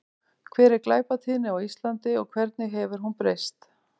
Hver er glæpatíðni á Íslandi og hvernig hefur hún breyst?